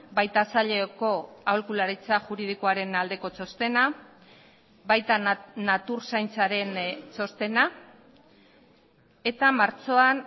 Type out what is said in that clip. baita saileko aholkularitza juridikoaren aldeko txostena baita natur zaintzaren txostena eta martxoan